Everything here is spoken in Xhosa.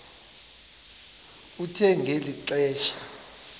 kuthe ngeli xesha